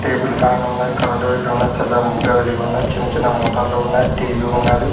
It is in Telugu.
టేబుల్ ఫ్యాన్ ఉన్నది కరెంటు వైర్లు ఉన్నవి తెల్లని బుగ్గ వెలిగి ఉన్నది చిన్న చిన్న మోటర్లు ఉన్నాయి టీవీ ఉన్నది.